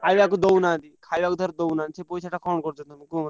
ଖାଇଆକୁ ଦଉନାହାନ୍ତି ଖାଇଆକୁ ଧର ଦଉନାହାନ୍ତି ସେ ପଇସାଟା କଣ କରୁଛନ୍ତି? କୁହ ମୋତେ।